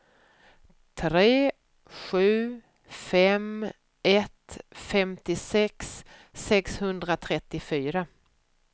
tre sju fem ett femtiosex sexhundratrettiofyra